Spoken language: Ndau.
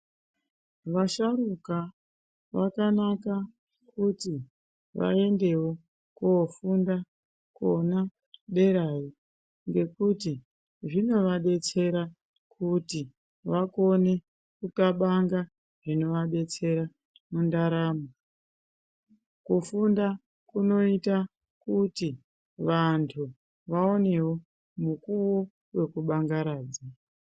Vasharuka vakanaka kuti vaendewo koofunda kona derayo ngekuti zvinoadetsera kuti vakone kuxabanga zvinoadetsera mundaramo. Kufunda kunoita kuti vantu vaonewo mukuwo wekubangaradza.